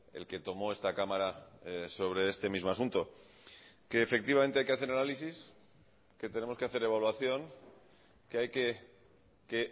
el que tomo esta cámara sobre este mismo asunto que efectivamente hay que hacer análisis que tenemos que hacer evaluación que hay que que